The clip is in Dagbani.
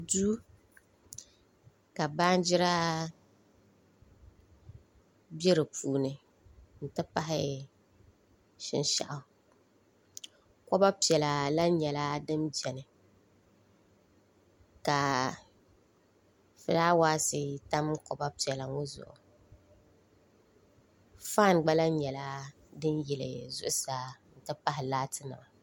Duu ka baanjira bɛ di puuni n ti pahi shinshaɣu koba piɛla lahi nyɛla din biɛni ka fulaawaasi tam koba piɛla ŋɔ zuɣu faan gba lahi nyɛla din yili zuɣusaa n ti pahi laati nima